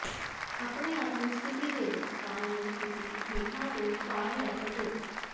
ਆਪਣੇ ਆਪ ਨੂੰ ਸਥਿਤੀ ਦੇਵੋ ਤਾਂ ਜੋ ਤੁਸੀਂ ਹੇਠਾਂ ਤੋਂ ਭਾਰ ਲੈ ਸਕੋ